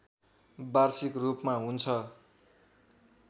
वार्षिक रूपमा हुन्छ